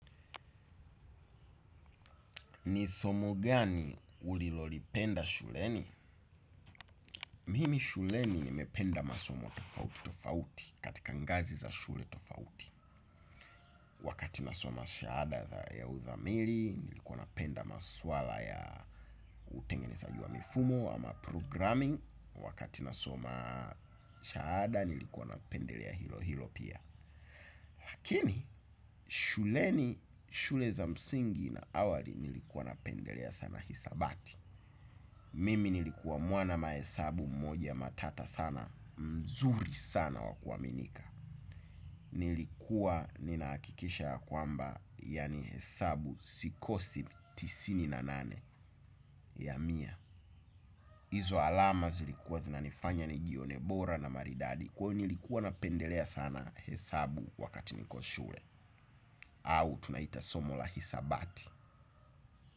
Ni somo gani ulilolipenda shuleni? Mimi shuleni nimependa masomo tofauti tofauti katika ngazi za shule tofauti. Wakati nasoma shahada ya udhamili, nilikuwa napenda maswala ya utengenezaji wa mifumo ama programming. Wakati nasoma shahada, nilikuwa napendelea hilo hilo pia. Lakini, shuleni, shule za msingi na awali nilikuwa napendelea sana hisabati. Mimi nilikuwa mwana mahesabu mmoja matata sana mzuri sana wakuaminika. Nilikuwa ninahakikisha ya kwamba yaani hesabu sikosi tisini na nane ya mia. Hizo alama zilikuwa zinanifanya nijione bora na maridadi kwani nilikuwa napendelea sana hesabu wakati niko shule. Au tunaita somo la hisabati.